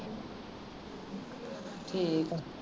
ਠੀਕ ਆ